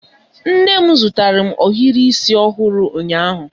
Nne m zụtara m ohiri isi ọhụrụ ụnyaahụ.